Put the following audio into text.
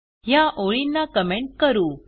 ह्या ओळींना कमेंट करू